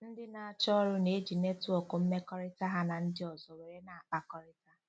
Ndị na-achọ ọrụ na-eji netwọk mmekọrịta ha na ndị ọzọ were na- akpakọrịta.